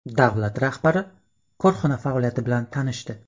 Davlat rahbari korxona faoliyati bilan tanishdi.